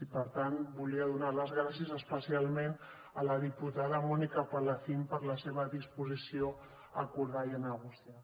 i per tant volia donar les gràcies especialment a la diputada mònica palacín per la seva disposició a acordar i a negociar